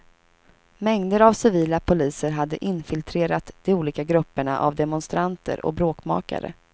Mängder av civila poliser hade infiltrerat de olika grupperna av demonstranter och bråkmakare.